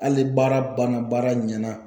Hali baara banna baara ɲɛna.